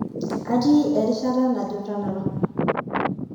atii erishata najo tanapa